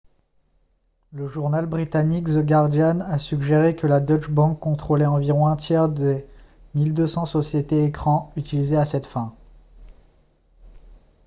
le journal britannique the guardian a suggéré que la deutsche bank contrôlait environ un tiers des 1200 sociétés écrans utilisées à cette fin